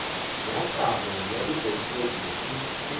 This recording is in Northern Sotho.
ya kabo ya dipotfolio e